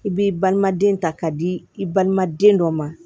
I b'i balima den ta k'a di i balima den dɔ ma